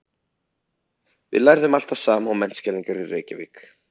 Við lærðum allt það sama og menntskælingar í Reykjavík.